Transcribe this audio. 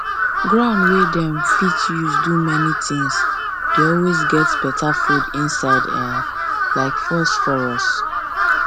ground wey dem fit use do many things dey always get better food inside um like phosphorus